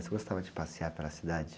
Você gostava de passear pela cidade?